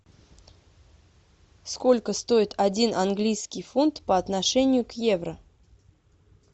сколько стоит один английский фунт по отношению к евро